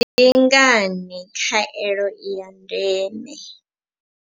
Ndi ngani khaelo i ya ndeme.